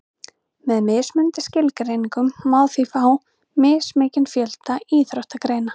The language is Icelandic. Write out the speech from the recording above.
með mismunandi skilgreiningum má því fá mismikinn fjölda íþróttagreina